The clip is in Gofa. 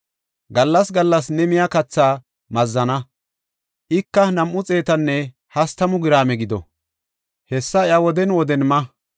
Gallas gallas ne miya katha mazanna; ika nam7u xeetanne hastamu giraame gido; hessa iya woden woden ma.